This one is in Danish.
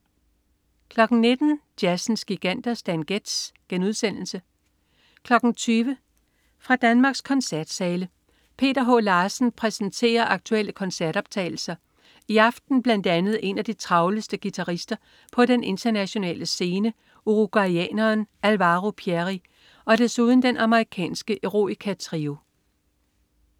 19.00 Jazzens Giganter. Stan Getz* 20.00 Fra Danmarks koncertsale. Peter H. Larsen præsenterer aktuelle koncertoptagelser, i aften bl.a. en af de travleste guitarister på den internationale scene uruguayaneren Alvaro Pierri og desuden den amerikanske Eroica Trio